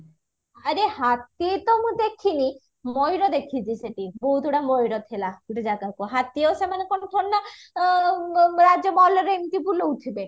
ଆରେ ହାତୀ ତ ଅ ମୁଁ ଦେଖିନି ମୟୁର ଦେଖିଚି ସେଠି ବହୁତଗୁଡ ମୟୁର ଥିଲା ଗୋଟେ ଜାଗାକୁ ହାତୀ ଆଉ ସେମାନେ କଣ ଥୋଡି ନା ରାଜ୍ୟ ଏମିତି ବୁଲଉଥିବେ